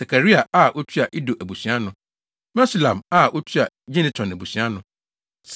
Sakaria a otua Ido abusua ano. Mesulam a otua Gineton abusua ano.